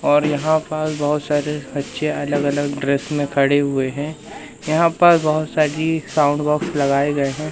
और यहां पास बहोत सारे अच्छे अलग अलग ड्रेस में खड़े हुए हैं यहां पर बहोत सारी साउंड बॉक्स लगाए गए हैं।